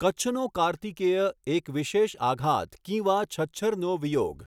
કચ્છનો કાર્તિકેય એક વિશેષ આઘાત કિંવા છચ્છરનો વિયોગ